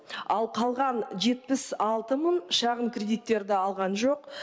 ал қалған жетпіс алты мың шағын кредиттерді алған жоқ